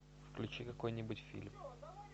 включи какой нибудь фильм